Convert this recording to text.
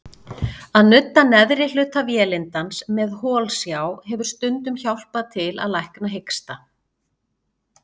Að nudda neðri hluta vélindans með holsjá hefur stundum hjálpað til að lækna hiksta.